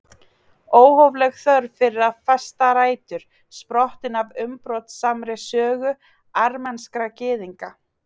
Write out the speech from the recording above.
Óhófleg þörf fyrir að festa rætur, sprottin af umbrotasamri sögu armenskra gyðinga.